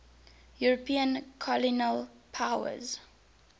european colonial powers